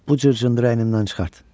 Bu cır-cındırı əynimdən çıxart.